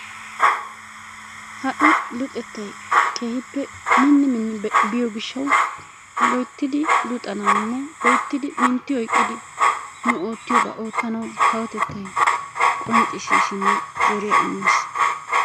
Ha'i luxxetay keehi mini mini biyoo giishshawu littidi luxxanawunne loyttidi mintti oyqqidi nu oottiyoobaa oottanawu kawotettay qoncciisinne zoriyaa immiis.